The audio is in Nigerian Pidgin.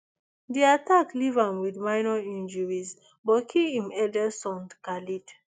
di attack leave am wit minor injuries but kill im eldest son khaled